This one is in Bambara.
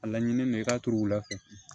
A laɲini mɛ i ka turula